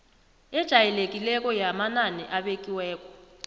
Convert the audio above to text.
ejayelekileko yamanani abekiweko